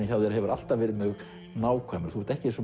hjá þér hefur alltaf verið nákvæmur þú ert ekki eins og